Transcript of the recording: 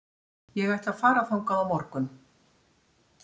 Ég ætla að fara þangað á morgun.